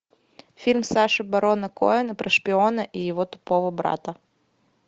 фильм саши барона коэна про шпиона и его тупого брата